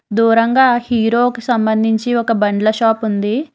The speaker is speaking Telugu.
దూరంగా హీరో కి సంబంధించి ఒక బండ్ల షాప్ ఉంది.